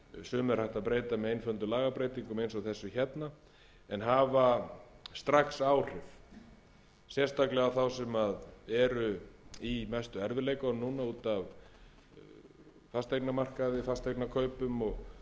sumu er hægt að breyta með einföldum lagabreytingum eins og þessum er hafa strax áhrif sérstaklega á þá sem eiga í mestu erfiðleikunum núna út af fasteignakaupum og tekjusamdrætti